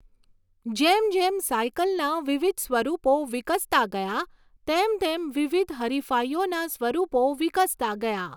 જેમ જેમ સાઇકલના વિવિધ સ્વરૂપો વિકસતા ગયા, તેમ તેમ વિવિધ હરિફાઇઓના સ્વરૂપો વિકસતા ગયા.